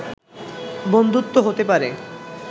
বন্ধুত্ব হতে পারে